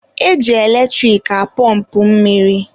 E ji eletrik apọmpụ mmiri.